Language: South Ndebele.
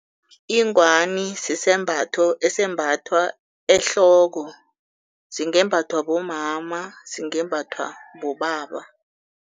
Ingwani sisembatho esimbathwa ehloko, singembathwa bomama, singembathwa bobaba.